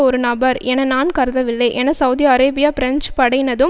ஒரு நபர் என நான் கருதவில்லை என சவுதி அரேபிய பிரெஞ்சு படையினதும்